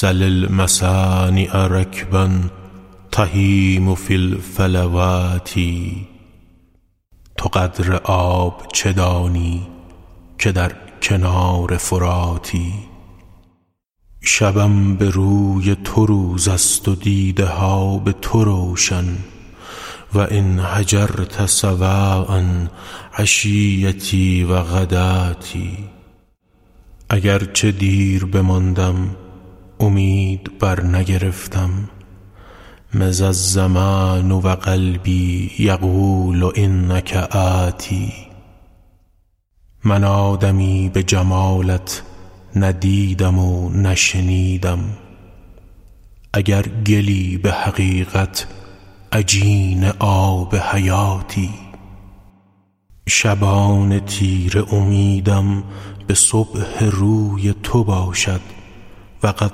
سل المصانع رکبا تهیم فی الفلوات تو قدر آب چه دانی که در کنار فراتی شبم به روی تو روز است و دیده ها به تو روشن و إن هجرت سواء عشیتي و غداتي اگر چه دیر بماندم امید برنگرفتم مضی الزمان و قلبي یقول إنک آت من آدمی به جمالت نه دیدم و نه شنیدم اگر گلی به حقیقت عجین آب حیاتی شبان تیره امیدم به صبح روی تو باشد و قد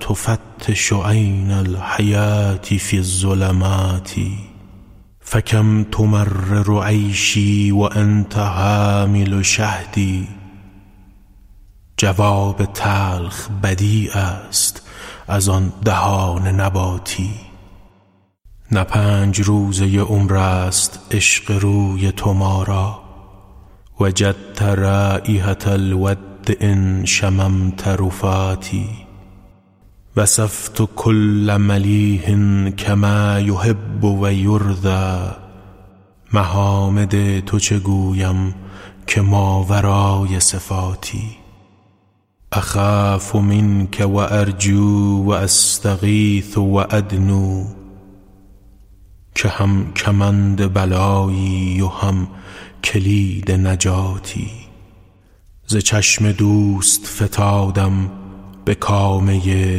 تفتش عین الحیوة في الظلمات فکم تمرر عیشي و أنت حامل شهد جواب تلخ بدیع است از آن دهان نباتی نه پنج روزه عمر است عشق روی تو ما را وجدت رایحة الود إن شممت رفاتي وصفت کل ملیح کما یحب و یرضیٰ محامد تو چه گویم که ماورای صفاتی أخاف منک و أرجو و أستغیث و أدنو که هم کمند بلایی و هم کلید نجاتی ز چشم دوست فتادم به کامه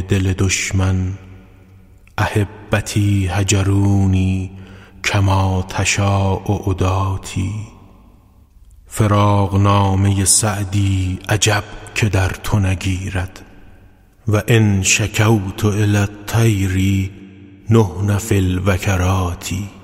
دل دشمن أحبتي هجروني کما تشاء عداتي فراقنامه سعدی عجب که در تو نگیرد و إن شکوت إلی الطیر نحن في الوکنات